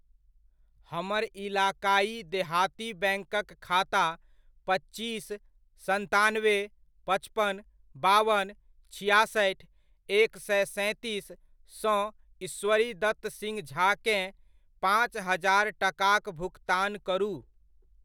हमर इलाक़ाइ देहाती बैङ्कक खाता पच्चीस, सन्तानबे, पचपन, बावन, छिआसठि, एक सए सैंतीस सँ ईश्वरीदत्त सिंह झा केँ, पाँच हजार टकाक भुकतान करू।